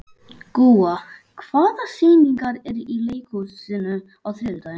Gúa, hvaða sýningar eru í leikhúsinu á þriðjudaginn?